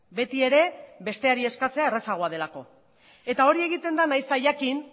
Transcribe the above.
betiere besteari eskatzea errazagoa delako eta hori egiten da nahiz eta jakin